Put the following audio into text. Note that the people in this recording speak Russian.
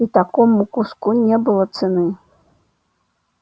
и такому куску не было цены